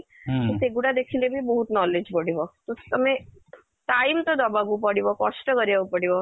ତ ସେ ଗୁଡା ଦେଖିଲେ ବି ବହୁତ knowledge ବଢିବ ତ ତମେ time ତ ଦବାକୁ ପଡିବ କଷ୍ଟ କରିବାକୁ ପଡିବ